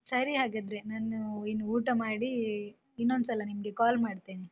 ಸರಿ ಹಾಗಾದ್ರೆ, ನಾನು ಇನ್ನು ಊಟ ಮಾಡಿ, ಇನ್ನೊಂದ್ಸಲ ನಿಮ್ಗೆ call ಮಾಡ್ತೇನೆ.